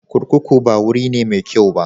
Kurkuku ba wuri ne mai kyau ba.